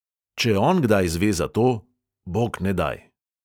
Če on kdaj zve za to – bognedaj!